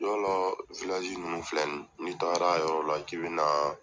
Yalɔ wulazi ninnu filɛ ni taara yɔrɔ la k'i bɛna